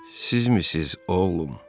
Sizmisiz, oğlum?